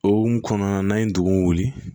Okumu kɔnɔna na an ye dugun wuli